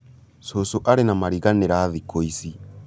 cũcũ arĩ na mariganĩra thikũ ici